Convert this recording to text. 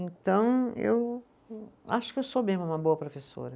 Então, eu acho que eu sou mesmo uma boa professora.